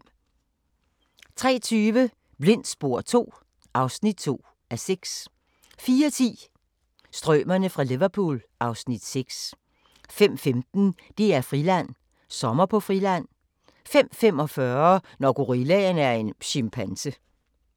03:20: Blindt spor II (2:6) 04:10: Strømerne fra Liverpool (Afs. 6) 05:15: DR-Friland: Sommer på Friland 05:45: Når gorillaen er en chimpanse